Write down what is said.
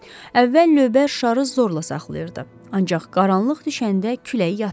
Əvvəl lövbər şarı zorla saxlayırdı, ancaq qaranlıq düşəndə külək yatdı.